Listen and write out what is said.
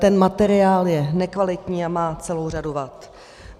Ten materiál je nekvalitní a má celou řadu vad.